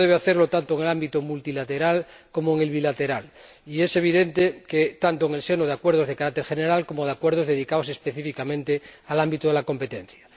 Esto debe hacerlo tanto en el ámbito multilateral como en el bilateral, y es evidente que tanto en el marco de acuerdos de carácter general como de acuerdos dedicados específicamente al ámbito de la competencia.